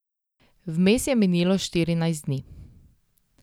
Vmes je minilo štirinajst dni.